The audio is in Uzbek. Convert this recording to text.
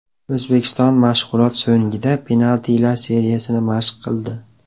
O‘zbekiston mashg‘ulot so‘ngida penaltilar seriyasini mashq qildi.